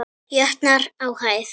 jötnar á hæð.